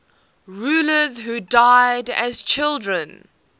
rulers who died as children